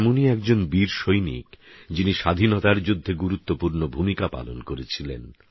এমনই একজন বীরসৈনিক যিনি স্বাধীনতার যুদ্ধে গুরুত্বপূর্ণ ভূমিকা পালন করেছিলেন